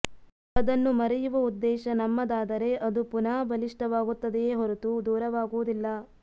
ಅದನ್ನು ಮರೆಯುವ ಉದ್ದೇಶ ನಮ್ಮದಾದರೆ ಅದು ಪುನಃ ಬಲಿಷ್ಠವಾಗುತ್ತದೆಯೇ ಹೊರತು ದೂರವಾಗುವುದಿಲ್ಲ